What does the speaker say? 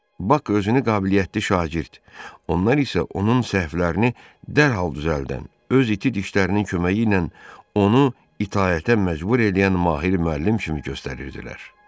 Bak özünü qabiliyyətli şagird, onlar isə onun səhvlərini dərhal düzəldən, öz iti dişlərinin köməyi ilə onu itaətə məcbur eləyən mahir müəllim kimi göstərirdilər.